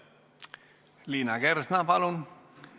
Liina Kersna, palun!